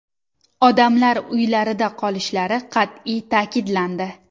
Odamlar uylarida qolishlari qat’iy ta’kidlandi.